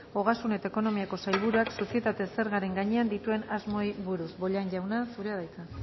ogasun eta ekonomiako sailburuak sozietate zergaren gainean dituen asmoei buruz bollain jauna zurea da hitza